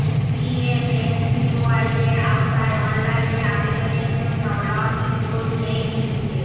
পিএমএমভিওয়াইয়ের আওতায় অনলাইনে আবেদনের জন্য লগ ইন করুন এই লিঙ্কে